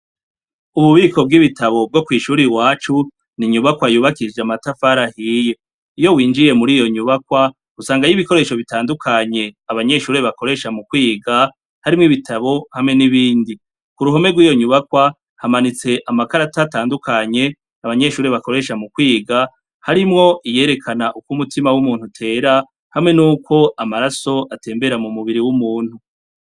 Ububiko bw'ibitabo bwo kw'ishuri wacu ni inyubakwa yubakisije amatafarahiye iyo winjiye muri iyo nyubakwa gusanga iyo ibikoresho bitandukanye abanyeshurir bakoresha mu kwiga harimwo ibitabo hamwe n'ibindi ku ruhome rw'iyo nyubakwa hamanitse amakarata tandukanye abanyeshuri bakoresha mu kwiga hri imwo iyerekana uko umutima w'umuntu tera hamwe ni uko amaraso atembera mu mubiri w'umuntu.